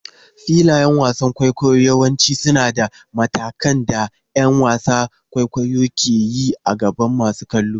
Filayen wasan kwaikwayo yawanci suna da matakan da ƴan wasan kwaikwayo ke yi a gaban masu kallo.